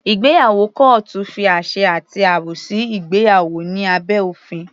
Ìgbéyàwó kọ́ọ́tù fi àṣẹ àti àbò sí ìgbéyàwó ní abẹ́ òfin.